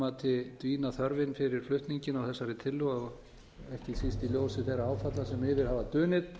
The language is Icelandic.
mati dvínað þörfin fyrir flutninginn á þessari tillögu ekki síst í ljósi þeirra áfalla sem yfir hafa dunið